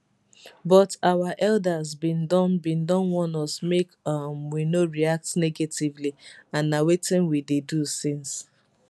but our elders bin don bin don warn us make um we no react negatively and na wetin we dey do since